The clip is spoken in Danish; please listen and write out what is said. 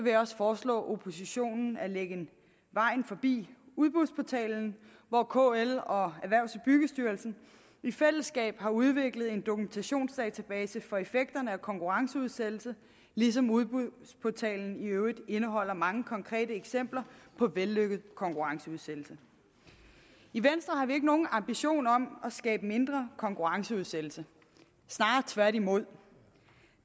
jeg også forslå oppositionen at lægge vejen forbi udbudsportalendk hvor kl og erhvervs og byggestyrelsen i fællesskab har udviklet en dokumentationsdatabase for effekterne af konkurrenceudsættelse ligesom udbudsportalendk i øvrigt indeholder mange konkrete eksempler på vellykket konkurrenceudsættelse i venstre har vi ikke nogen ambition om at skabe mindre konkurrenceudsættelse snarere tværtimod